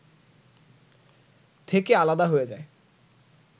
থেকে আলাদা হয়ে যায়